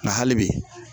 Nka hali bi